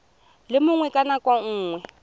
le mongwe ka nako nngwe